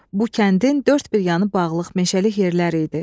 Bu kəndin dörd bir yanı bağlıq meşəlik yerlər idi.